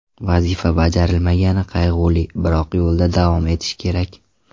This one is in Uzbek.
Vazifa bajarilmagani qayg‘uli, biroq yo‘lda davom etish kerak.